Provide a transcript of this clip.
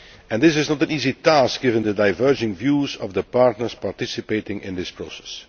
This is not an easy task, given the diverging views of the partners participating in this process.